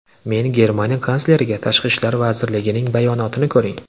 Men Germaniya kansleriga ‘Tashqi ishlar vazirligining bayonotini ko‘ring.